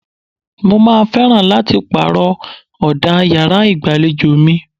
Mo máa fẹ́ràn láti pàrọ̀ ọ̀dà yàrá ìgbàlejò mi.